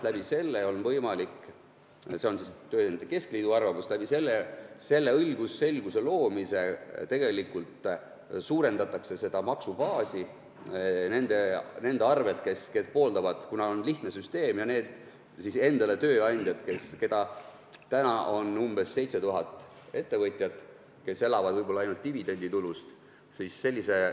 Ma arvan – see on tööandjate keskliidu arvamus –, et selle õigusselguse loomisega tegelikult suurendatakse maksubaasi nende umbes 7000 ettevõtja abil, kes elavad võib-olla ainult dividenditulust, kuna see on selge süsteem.